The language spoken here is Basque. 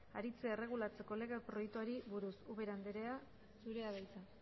aritzea erregulatzeko lege proiektuari buruz ubera anderea zurea da hitza